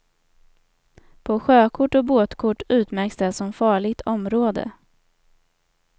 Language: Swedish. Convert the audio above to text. På sjökort och båtkort utmärks det som farligt område.